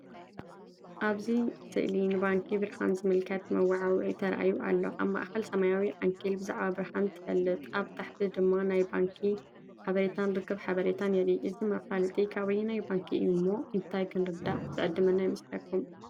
ኣብዚ ስእሊ ንባንኪ ብርሃን ዝምልከት መወዓውዒ ተራእዩ ኣሎ። ኣብ ማእከል ሰማያዊ ዓንኬል "ብዛዕባ ብርሃን ትፈልጥ?" ኣብ ታሕቲ ድማ ናይቲ ባንኪ ሓበሬታን ርክብ ሓበሬታን የርኢ። እዚ መፋለጢ ካብ ኣየናይ ባንኪ እዩ እሞ እንታይ ክንርዳእ ዝዕድመና ይመስለኩም?